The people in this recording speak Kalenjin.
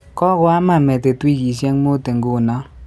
Kokoama metit wikisyek muut inguno